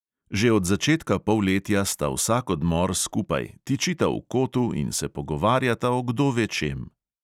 Že od začetka polletja sta vsak odmor skupaj, tičita v kotu in se pogovarjata o kdo ve čem.